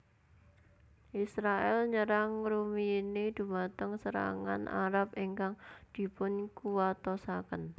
Israèl nyerang ngrumiyini dhumateng serangan Arab ingkang dipunkuwatosaken